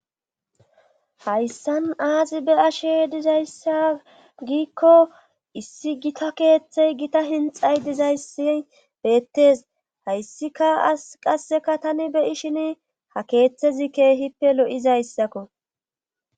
hayssan aazi be'ashe dizayssa giikko issi gita keeththey gita hinxay dizayssi beettes hayssika as qasseka tani beyi shin ha keeththezi keehippe lo7izayssakko